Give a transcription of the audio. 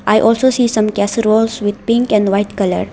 I also see some casseroles with pink and white colour.